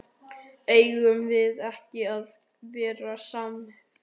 Eigum við ekki að verða samferða?